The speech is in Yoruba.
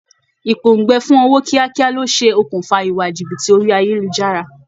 Ìpòǹgbẹ fun ọwọ́ kíákíá ló ṣe okùnfà ìwà jìbìtì orí ayélujára